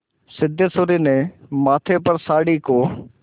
सिद्धेश्वरी ने माथे पर साड़ी को